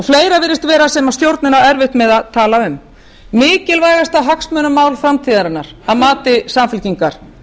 fleira virðist vera sem stjórnin á erfitt með að tala um mikilvægasta hagsmunamál samtíðarinnar að mati samfylkingar